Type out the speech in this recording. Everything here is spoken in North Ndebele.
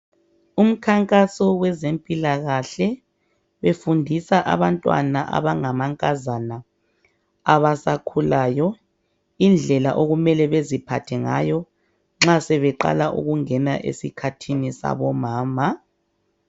Umkhankazo wezempilakahle befundisa abantwana abangamankazana abasakhulayo indlela okumele beziphathe ngayo nxa sebeqala ukungena esikhathini sabomama.